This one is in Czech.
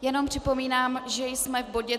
Jenom připomínám, že jsme v bodě